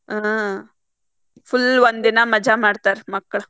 ಹಾ full ಒಂದಿನಾ ಮಜಾ ಮಾಡ್ತಾರ ಮಕ್ಳ.